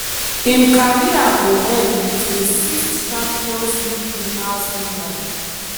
im career go end wit a sixth champions league winners medal.